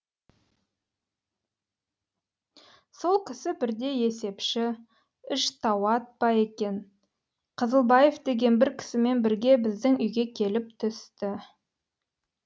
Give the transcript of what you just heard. сол кісі бірде есепші іштауат па екен қызылбаев деген бір кісімен бірге біздің үйге келіп түсті